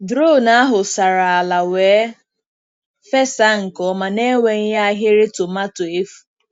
Drone ahụ sara ala wee fesa nke ọma n’enweghị ahịrị tomato efu.